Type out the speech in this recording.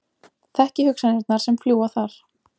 Þekki hugsanirnar sem fljúga þar.